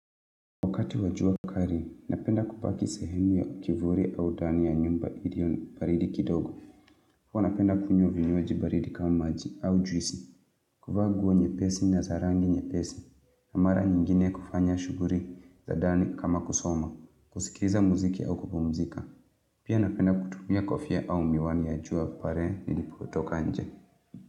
Wakati wa jua kali, napenda kubaki sehemu ya kivuli au ndani ya nyumba ili ndio baridi kidogo. Huwa napenda kunywa vinywaji baridi kama maji au juisi. Kuvaa nguo nyepesi na za rangi nyepesi. Mara nyingine kufanya shughuli za ndani kama kusoma. Kusikiza muziki au kupumzika. Pia napenda kutumia kofia au miwani ya jua pale nilipotoka nje.